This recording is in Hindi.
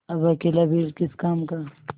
अब अकेला बैल किस काम का